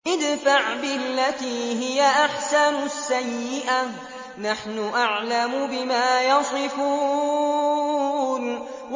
ادْفَعْ بِالَّتِي هِيَ أَحْسَنُ السَّيِّئَةَ ۚ نَحْنُ أَعْلَمُ بِمَا يَصِفُونَ